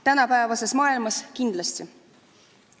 Tänapäevases maailmas kindlasti.